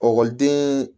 Ekɔliden